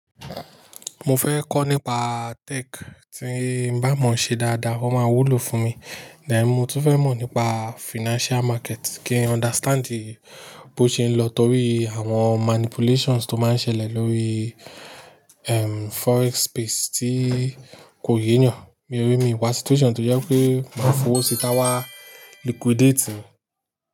Mo fẹ́ kọ́ nípa tech tí ń bá mọ̀ ṣe dáadáa, wọ́n máa wúlò fún mi. Ẹ̀n, mo tún fẹ́ mọ̀ nípa financial market kí n understand bí ó ṣe ń lọ torí àwọn manipulations tó máa ń ṣẹlẹ̀ lórí, ehm, forex space tí kò yé yàn. Mi o rí mi wá situation tó jẹ́ pé máa f'owo sí ta wá liquidate.